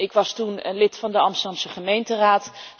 Ik was toen lid van de Amsterdamse gemeenteraad.